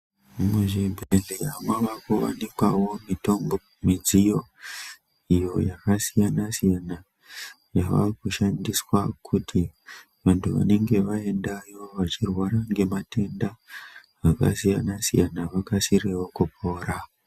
Muzvibhedlera mavakuwanikwawo mitombo, midziyo iyo yakasiyana siyana yavakushandiswa kuti vantu vanenge vaendayo vachirwara ngematenda akasiyana siyana vakasirewo kupora.